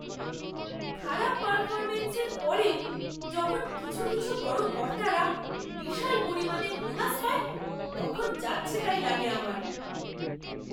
খারাপ পারফরম্যান্সের পরেও যখন কিছু কিছু বড় কর্তারা বিশাল পরিমাণে বোনাস পায় তখন যাচ্ছেতাই লাগে আমার!